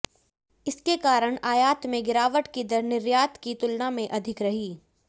इसके कारण आयात में गिरावट की दर निर्यात की तुलना में अधिक रही